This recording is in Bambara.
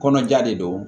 Kɔnɔja de don